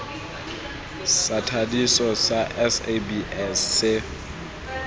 sa thadiso sa sabs se